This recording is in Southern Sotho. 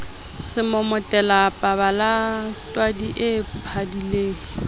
semomotela pabala twadi e padileng